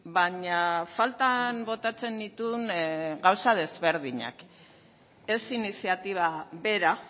baina faltan botatzen nituen gauza ezberdinak ez iniziatiba bera